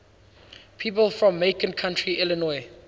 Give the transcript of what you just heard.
people from macon county illinois